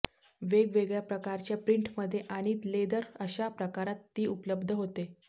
वेगवेगळ्या प्रकारच्या प्रिंटमध्ये आणि लेदर अशा प्रकारांत ती उपलब्ध होते